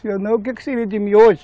Se eu não, o que que seria de mim hoje?